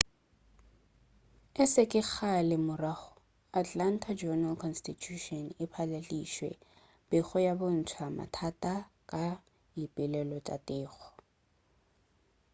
e se kgale ka morago atlanta journal-constitution e patlaladitše pego ya go bontša mathata ka dipoelo tša teko